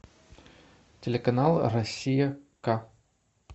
телеканал россия к